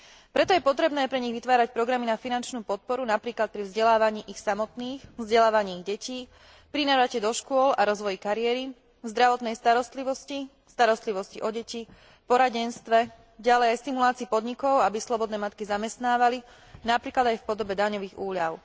Preto je potrebné pre nich vytvárať programy na finančnú podporu, napríklad pri vzdelávaní ich samotných, vzdelávaní ich detí, pri návrate do škôl a rozvoji kariéry, zdravotnej starostlivosti, starostlivosti o deti, poradenstve, ďalej aj stimulácii podnikov, aby slobodné matky zamestnávali, napríklad aj v podobe daňových úľav.